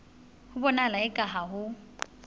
ho bonahala eka ha ho